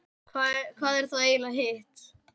hvað er þá eiginlega hitt